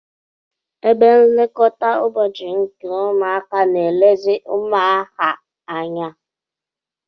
Ebe nlekọta ụbọchị nke ụmụaka na-elezi ụmụaha anya.